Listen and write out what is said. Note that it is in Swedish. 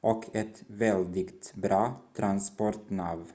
och ett väldigt bra transportnav